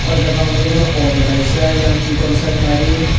o jaga o ang nogoi mano auto kaisa eyang sikon sa gari.